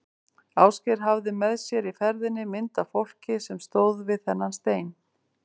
Ásgeir hafði með sér í ferðinni mynd af fólki sem stóð við þennan stein.